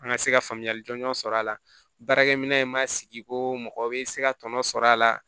An ka se ka faamuyali jɔnjɔn sɔrɔ a la baarakɛminɛn in ma sigi ko mɔgɔ bɛ se ka tɔnɔ sɔrɔ a la